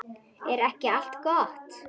Er ekki allt gott?